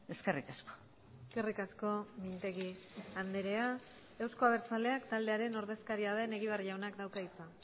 eskerrik asko eskerrik asko mintegi andrea euzko abertzaleak taldearen ordezkaria den egibar jaunak dauka hitza